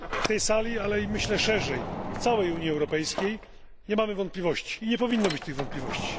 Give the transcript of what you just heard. W tej sali, ale i myślę, że szerzej w całej Unii Europejskiej, nie mamy wątpliwości i nie powinno być tych wątpliwości.